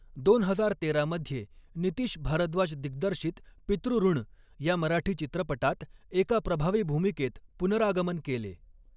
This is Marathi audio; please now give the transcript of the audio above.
दोन हजार तेरा मध्ये नितीश भारद्वाज दिग्दर्शित पितृऋण या मराठी चित्रपटात एका प्रभावी भूमिकेत पुनरागमन केले.